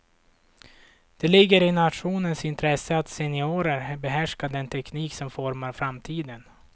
Det ligger i nationens intresse att seniorer behärskar den teknik som formar framtiden.